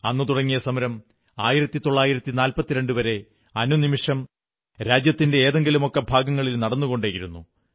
അന്നു തുടങ്ങിയ സമരം 1942 വരെ അനുനിമിഷം രാജ്യത്തിന്റെ ഏതെങ്കിലുമൊക്കെ ഭാഗങ്ങളിൽ നടന്നുകൊണ്ടേയിരുന്നു